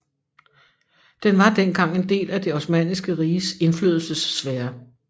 Den var dengang en del af Det Osmanniske Riges indflydelsessfære